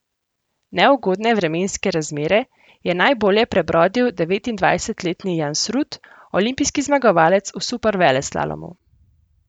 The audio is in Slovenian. Neugodne vremenske razmere je najbolje prebrodil devetindvajsetletni Jansrud, olimpijski zmagovalec v superveleslalomu.